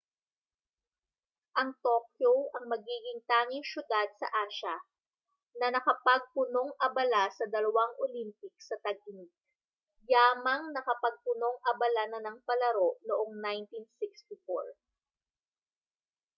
ang tokyo ang magiging tanging siyudad sa asya na nakapagpunong-abala sa dalawang olympics sa tag-init yamang nakapagpunong-abala na ng palaro noong 1964